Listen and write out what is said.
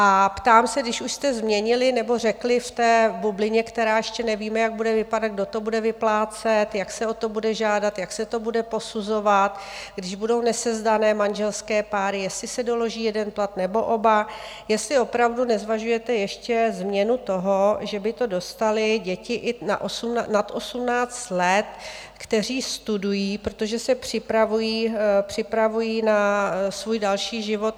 A ptám se, když už jste změnili nebo řekli v té bublině, která ještě nevíme, jak bude vypadat, kdo to bude vyplácet, jak se o to bude žádat, jak se to bude posuzovat, když budou nesezdané manželské páry, jestli se doloží jeden plat, nebo oba, jestli opravdu nezvažujete ještě změnu toho, že by to dostaly děti i nad 18 let, které studují, protože se připravují na svůj další život.